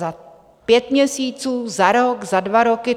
Za pět měsíců, za rok, za dva roky?